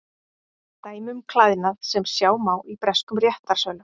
Dæmi um klæðnað sem sjá má í breskum réttarsölum.